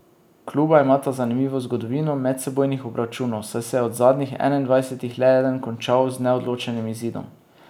Kluba imata zanimivo zgodovino medsebojnih obračunov, saj se je od zadnjih enaindvajsetih le eden končal z neodločenim izidom.